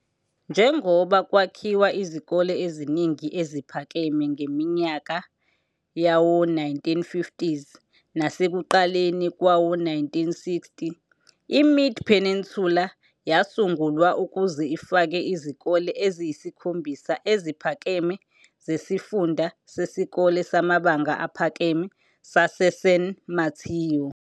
Njengoba kwakhiwa izikole eziningi eziphakeme ngeminyaka yawo-1950s nasekuqaleni kwawo-1960, iMid-Peninsula yasungulwa ukuze ifake izikole eziyisikhombisa eziphakeme zeSifunda Sesikole Samabanga Aphakeme saseSan Mateo.